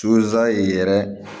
yɛrɛ